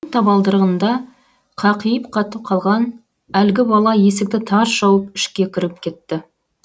табалдырығында қақиып қатып қалған әлгі бала есікті тарс жауып ішке кіріп кетті